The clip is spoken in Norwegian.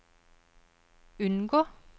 unngå